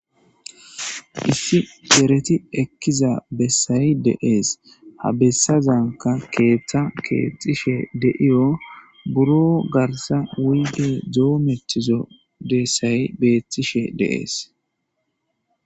issi gereti ekkiza bessayi deees ha bessazanka keeththa keexxishe deiyo buro garsa wuyde doo metizo dessayi beethtishe deees